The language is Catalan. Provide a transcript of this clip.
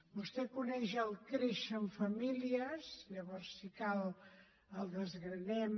vostè coneix el créixer en família llavors si cal el desgranem